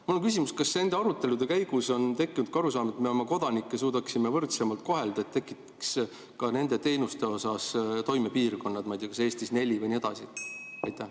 Mul on küsimus: kas nende arutelude käigus on tekkinud arusaam, et me oma kodanikke suudaksime võrdsemalt kohelda, kui tekitaks ka nende teenuste jaoks toimepiirkonnad, ma ei tea, kas neli või nii edasi?